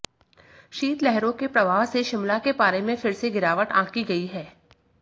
शीतलहरों के प्रवाह से शिमला के पारे में फिर से गिरावट आंकी गई है